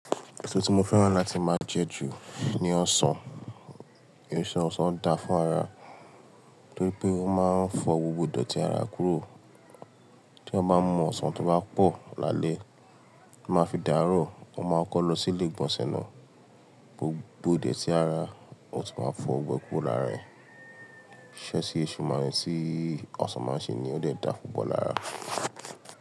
Èso tí mo fẹ́ràn láti máa jẹ jù ni ọsàn, nítorí ọsàn da fún ara, torí pé ó máa ń fọ gbogbo dọ̀tí ara kúrò. Tí a bá mọ ọsàn tó bá pọ̀ lálẹ́, a máa fi dárò, a máa kọ́ lọ sí ilé ìgbọ̀nsẹ̀ náà, gbogbo dọ̀tí ara ò tí máa fọ́ gbogbo lára rẹ̀. Iṣẹ́ tí èso máa ń ṣe ní ó dẹ̀ da fún púpọ̀ ara.